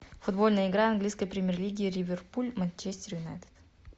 футбольная игра английской премьер лиги ливерпуль манчестер юнайтед